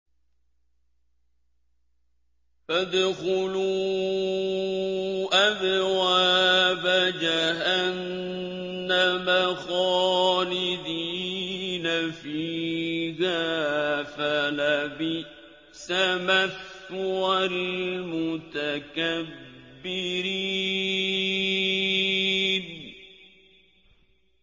فَادْخُلُوا أَبْوَابَ جَهَنَّمَ خَالِدِينَ فِيهَا ۖ فَلَبِئْسَ مَثْوَى الْمُتَكَبِّرِينَ